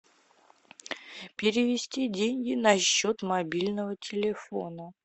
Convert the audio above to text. перевести деньги на счет мобильного телефона